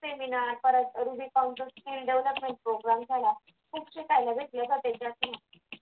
seminar परत rubicon skill development program पण झाला खूप शिकायला भेटले जाते त्याच्यास्नी